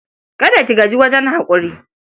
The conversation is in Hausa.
Kada ki gajiya wajen haƙuri.